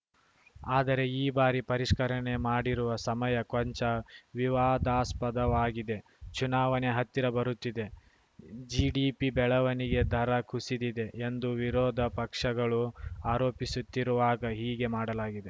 ಆದರೆ ಈ ಬಾರಿ ಪರಿಷ್ಕರಣೆ ಮಾಡಿರುವ ಸಮಯ ಕೊಂಚ ವಿವಾದಾಸ್ಪದವಾಗಿದೆ ಚುನಾವಣೆ ಹತ್ತಿರ ಬರುತ್ತಿದೆ ಜಿಡಿಪಿ ಬೆಳವಣಿಗೆ ದರ ಕುಸಿದಿದೆ ಎಂದು ವಿರೋಧ ಪಕ್ಷಗಳು ಆರೋಪಿಸುತ್ತಿರುವಾಗ ಹೀಗೆ ಮಾಡಲಾಗಿದೆ